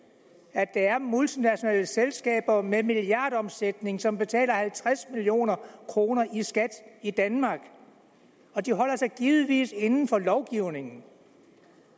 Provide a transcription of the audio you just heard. at der er multinationale selskaber med en milliardomsætning som betaler halvtreds million kroner i skat i danmark de holder sig givetvis inden for lovgivningen